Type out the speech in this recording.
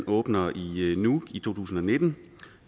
åbner i i nuuk i to tusind og nitten